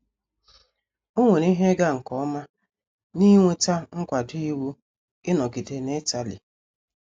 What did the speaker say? O nwere ihe ịga nke ọma n’inweta nkwado iwu ịnọgide n’Itali.